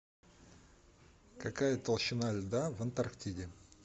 какая толщина льда в антарктиде